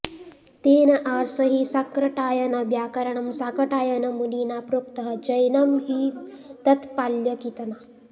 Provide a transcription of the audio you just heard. तेन आर्ष हि शाक्रटायनव्यांकरणं शाकटायनमुनिना प्रोक्तः जैनं हिं तत्पाल्यकीतना